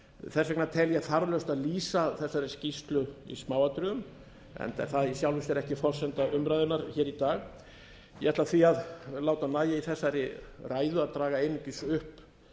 þess vegna tel ég þarflaust að lýsa þessari skýrslu í smáatriðum enda er það í sjálfu sér ekkert forsenda umræðunnar hér í dag ég ætla því að láta nægja í þessari ræðu að draga einungis upp